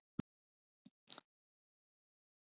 Þetta var svolítið dæmigerður úrslitaleikur